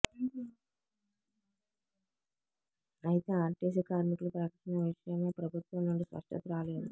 అయితే ఆర్టీసీ కార్మికుల ప్రకటన విషయమై ప్రభుత్వం నుండి స్పష్టత రాలేదు